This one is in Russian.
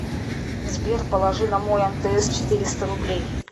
сбер положи на мой мтс четыреста рублей